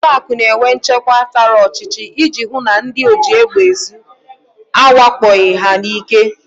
Ụlọakụ na-enwe nchekwa tara ọchịchị iji hụ na ndị ojiegbeezu awakpoghị ha n'ike